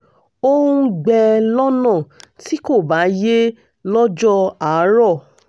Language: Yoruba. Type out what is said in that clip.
ó ń gbẹ́ lọ́nà tí kò bá yé lọ́jọ́ àárọ̀